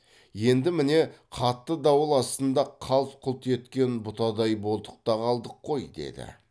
енді міне қатты дауыл астында қалт құлт еткен бұтадай болдық та қалдық қой деді